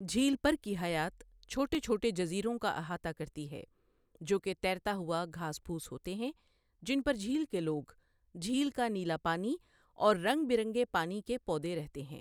جھیل پر کی حیات چھوٹے چھوٹے جزیروں کا احاطہ کرتی ہے جو کہ تیرتا ہوا گھاس پھونس ہوتے ہیں، جن پر جھیل کے لوگ، جھیل کا نیلا پانی اور رنگ برنگے پانی کے پودے رہتے ہیں۔